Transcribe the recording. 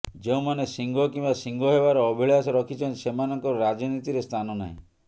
ଯେଉଁମାନେ ସିଂହ କିମ୍ବା ସିଂହ ହେବାର ଅଭିଳାଶା ରଖିଛନ୍ତି ସେମାନଙ୍କର ରାଜନୀତିରେ ସ୍ଥାନ ନାହିଁ